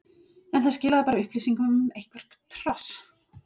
en það skilaði bara upplýsingum um eitthvert hross.